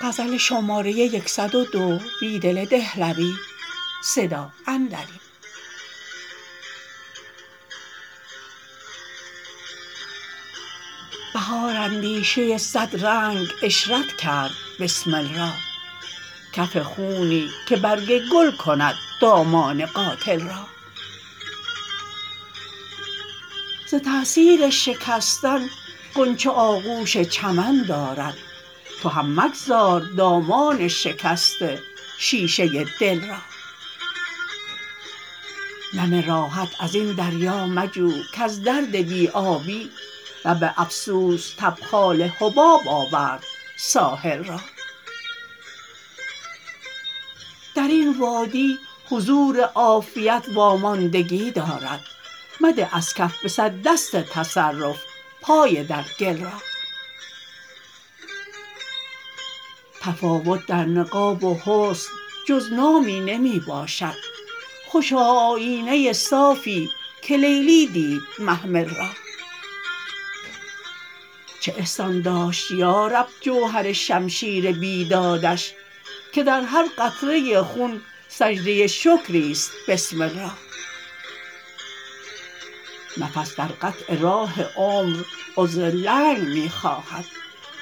بهار اندیشه صدرنگ عشرت کرد بسمل را کف خونی که برگ گل کند دامان قاتل را زتأثیر شکستن غنچه آغوش چمن دارد تو هم مگذار دامان شکست شیشه دل را نم راحت ازین دریا مجو کز درد بی آبی لب افسوس تبخال حباب آورد ساحل را درین وادی حضور عافیت واماندگی دارد مده ازکف به صد دست تصرف پای درگل را تفاوت در نقاب و حسن جز نامی نمی باشد خوشا آیینه صافی که لیلی دید محمل را چه احسان داشت یارب جوهرشمشیر بید که درهرقطرة خون سجدة شکری ست بسرال را نفس در قطع راه عمر عذر لنگ می